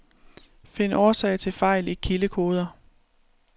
Find årsag til fejl i kildekoder.